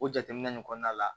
O jateminɛ nin kɔnɔna la